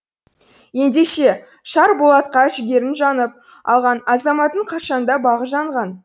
ендеше шар болатқа жігерін жанып алған азаматтың қашанда бағы жанған